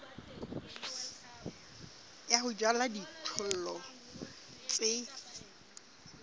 ya ho jala dijothollo tse